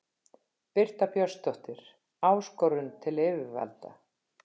Birta Björnsdóttir: Áskorun til yfirvalda?